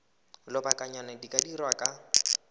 lobakanyana di ka dirwa kwa